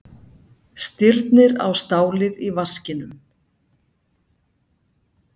Stirnir á stálið í vaskinum.